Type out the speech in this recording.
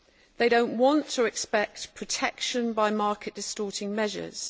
They do not want or expect protection by market distorting measures.